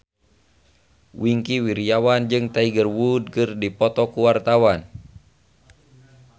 Wingky Wiryawan jeung Tiger Wood keur dipoto ku wartawan